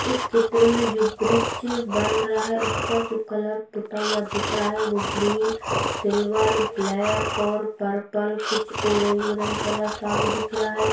इस चित्र मे जो ब्रिज बन रहा है उस पर जो कलर पूता हुआ दिख रहा है वो ग्रीन सिल्वर ब्लैक और पर्पल कुछ ऑरेंज ऑरेंज कलर सा भी दिख रहा है।